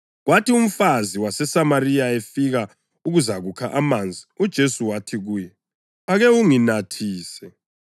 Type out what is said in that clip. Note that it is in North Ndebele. Kwathi umfazi waseSamariya efika ukuzakukha amanzi uJesu wathi kuye, “Ake unginathise.”